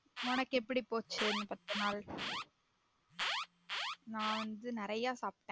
உனக்கு எப்டி போச்சு இந்த பத்து நாள் நான் வந்து நெறைய சாப்டேன்